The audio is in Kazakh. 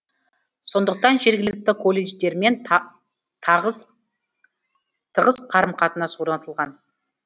сондықтан жергілікті колледждермен тығыз қарым қатынас орнатылған